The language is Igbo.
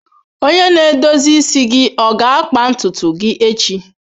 Onye na-edozi isi gị ọ ga-akpa ntutu gị echi?